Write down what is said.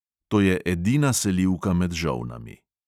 To je edina selivka med žolnami.